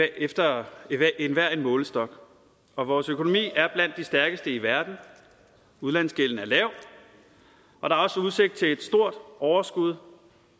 efter enhver målestok og vores økonomi er blandt de stærkeste i verden udlandsgælden er lav og der er også udsigt til et stort overskud